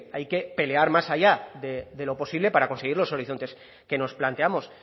hay que pelear más allá de lo posible para conseguir los horizontes que nos planteamos